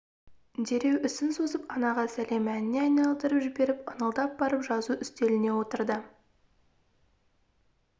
дереу ісін созып анаға сәлем әніне айналдырып жіберіп ыңылдап барып жазу үстеліне отырды